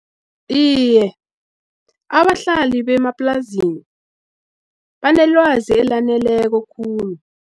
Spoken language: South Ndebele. Iye, abahlali bemaplazini banelwazi elaneleko khulu.